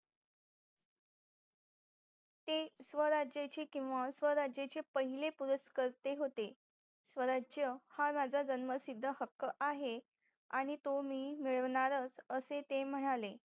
ते स्वराज्यचे किंवा स्वराज्यचे पहिले पुरुषकर्ते होते स्वराज्य हा माझा जन्मसिद्ध हक्क आहे आणि तो मी मिळवणारच असे ते म्हणाले